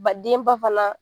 Ba denba fana.